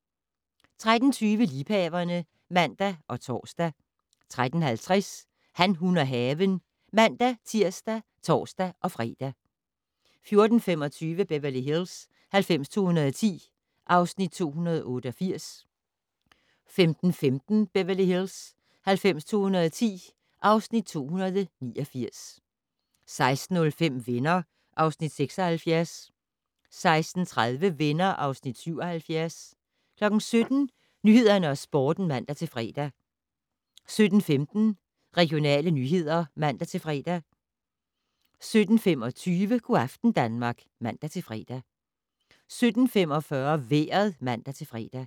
13:20: Liebhaverne (man og tor) 13:50: Han, hun og haven (man-tir og tor-fre) 14:25: Beverly Hills 90210 (Afs. 288) 15:15: Beverly Hills 90210 (Afs. 289) 16:05: Venner (Afs. 76) 16:30: Venner (Afs. 77) 17:00: Nyhederne og Sporten (man-fre) 17:15: Regionale nyheder (man-fre) 17:25: Go' aften Danmark (man-fre) 17:45: Vejret (man-fre)